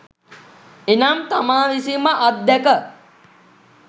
එනම් තමා විසින්ම අත්දැක